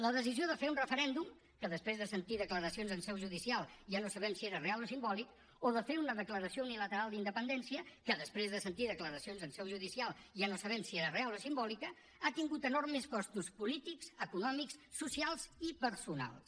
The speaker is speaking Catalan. la decisió de fer un referèndum que després de sentir declaracions en seu judicial ja no sabem si era real o simbòlic o de fer una declaració unilateral d’independència que després de sentir declaracions en seu judicial ja no sabem si era real o simbòlica ha tingut enormes costos polítics econòmics socials i personals